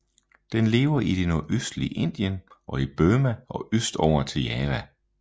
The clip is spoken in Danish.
Den lever i det nordøstlige Indien og i Burma og østover til Java